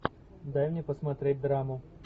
дай мне посмотреть драму